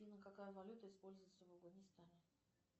афина какая валюта используется в афганистане